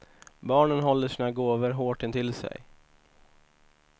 Barnen håller sina gåvor hårt intill sig.